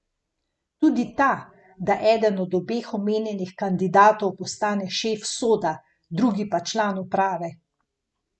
Tudi ta, da eden od obeh omenjenih kandidatov postane šef Soda, drugi pa član uprave.